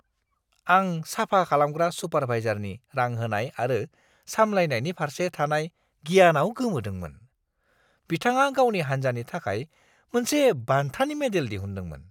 आं साफा खालामग्रा सुपारभाइजारनि रां होनाय आरो साम्लायनायनि फारसे थानाय गियानाव गोमोदोंमोन। बिथाङा गावनि हान्जानि थाखाय मोनसे बान्थानि मडेल दिहुनदोंमोन!